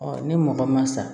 ni mɔgɔ ma sa